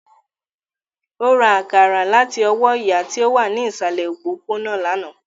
Ó ra àkàrà láti ọwọ́ ìyá tí ó wà ní ìsàlẹ̀ òpópónà lánàá